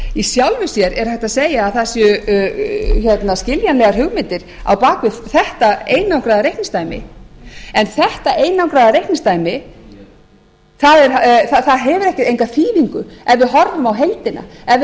í sjálfu sér er hægt að segja að það séu skiljanlegar hugmyndir á bak við þetta einangraða reikningsdæmi en þetta einangraða reikningsdæmi það hefur enga þýðingu ef við horfum á heildina ef